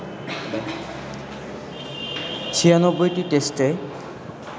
৯৬টি টেস্টে